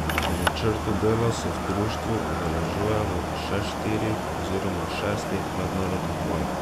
Po načrtu dela se v društvu udeležujemo še štirih oziroma šestih mednarodnih vaj.